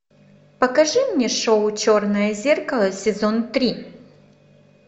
покажи мне шоу черное зеркало сезон три